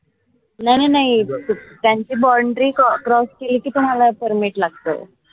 नाई नाई नाई त्यांची boundary cross केली की तुम्हाला permit लागत